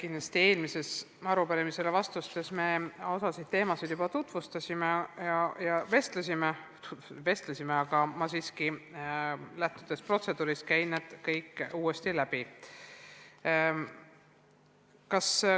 Kindlasti me eelmise arupärimise raames osal teemadel juba vestlesime, aga lähtudes protseduurist, käin ma siiski kõik küsimused uuesti läbi.